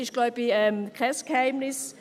Ich glaube, das ist kein Geheimnis.